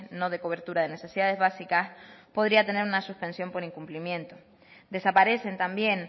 no de cobertura de necesidades básicas podría tener una suspensión por incumplimiento desaparecen también